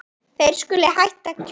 Þeir skuli hætta að kjósa.